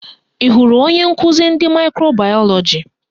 Ị hụrụ onye nkụzi ndị maịkro bayọlọji?